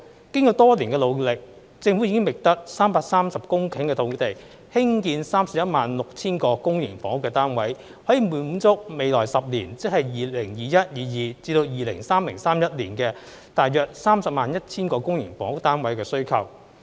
經過多年的努力，政府已覓得330公頃土地興建 316,000 個公營房屋單位，可以滿足未來10年大約 301,000 個公營房屋單位的需求。